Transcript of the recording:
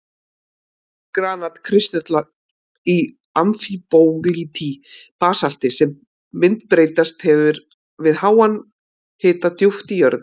Granat-kristallar í amfíbólíti, basalti sem myndbreyst hefur við háan hita djúpt í jörðu.